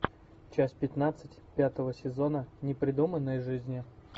часть пятнадцать пятого сезона непридуманные жизни